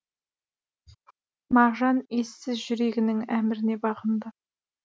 мағжан ессіз жүрегінің әміріне бағынды